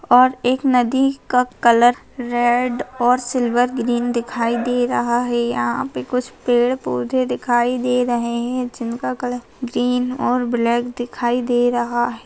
और एक नदी का कलर रेड और सिल्वर ग्रीन दिखाई दे रहा है यहाँ पर कुछ पेड़-पौधे दिखाई दे रहे है जिनका कलर ग्रीन और ब्लैक दिखाई दे रहा है।